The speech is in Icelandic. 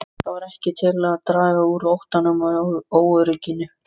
Það varð ekki til að draga úr óttanum og óörygginu.